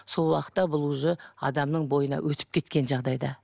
сол уақытта бұл уже адамның бойына өтіп кеткен жағдайда